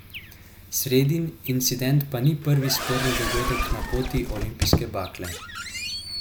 Sredin incident pa ni prvi sporni dogodek na poti olimpijske bakle.